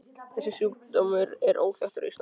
Þessi sjúkdómur er óþekktur á Íslandi.